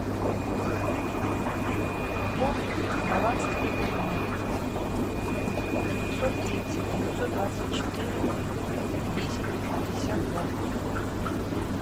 пополнить баланс телефона девятьсот тридцать девятьсот двадцать четыре десять пятьдесят два